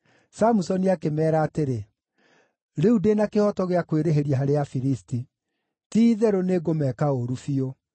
Samusoni akĩmeera atĩrĩ, “Rĩu ndĩ na kĩhooto gĩa kwĩrĩhĩria harĩ Afilisti; ti-itherũ nĩngũmeka ũũru biũ.”